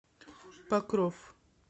покров